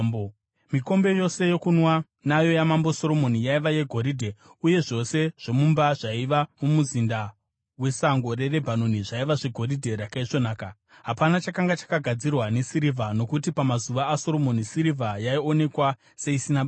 Mikombe yose yokunwa nayo yaMambo Soromoni yaiva yegoridhe, uye zvose zvomumba zvaiva muMuzinda weSango reRebhanoni zvaiva zvegoridhe rakaisvonaka. Hapana chakanga chakagadzirwa nesirivha, nokuti pamazuva aSoromoni sirivha yaionekwa seisina basa.